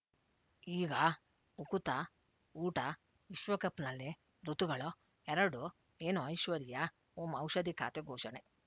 ಈಗ ಉಕುತ ಊಟ ವಿಶ್ವಕಪ್‌ನಲ್ಲಿ ಋತುಗಳು ಎರಡು ಏನು ಐಶ್ವರ್ಯಾ ಓಂ ಔಷಧಿ ಖಾತೆ ಘೋಷಣೆ